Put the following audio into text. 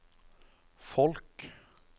folk